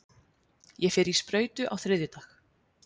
Ég fer í sprautu á þriðjudag.